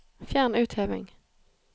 Fjern utheving